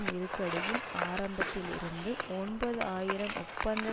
நெருக்கடியின் ஆரம்பத்தில் இருந்து ஒன்பது ஆயிரம் ஒப்பந்த